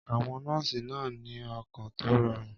Àwọn nọ́ọ̀sì náà ní ọkàn tó rọrùn.